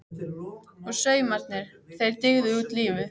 Og saumarnir- þeir dygðu út lífið.